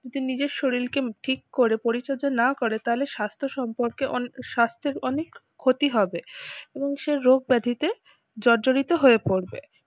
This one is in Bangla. যে নিজের শরীরকে ঠিক করে পরিচর্যা না করে তাহলে স্বাস্থ্য সম্পর্কে অনেক স্বাস্থের অনেক ক্ষতি হবে এবং সে রোগ ব্যাধিতে জর্জরিত হয়ে পড়বে।